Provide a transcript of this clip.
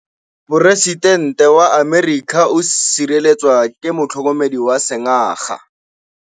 Poresitêntê wa Amerika o sireletswa ke motlhokomedi wa sengaga.